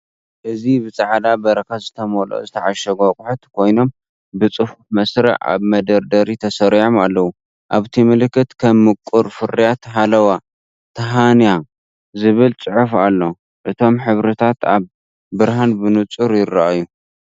እዚ ብጻዕዳ በረኸት ዝተመልኡ ዝተዓሸጉ ኣቑሑት ኮይኖም፡ ብጽፉፍ መስርዕ ኣብ መደርደሪ ተሰሪዖም ኣለዉ። ኣብቲ ምልክት ከም ምቁር ፍርያት 'ሃላዋ ታሂንያ' ዝብል ጽሑፍ ኣሎ። እቶም ሕብርታት ኣብ ብርሃን ብንጹር ይረኣዩ።